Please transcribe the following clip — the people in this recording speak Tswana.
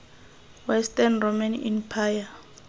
western roman empire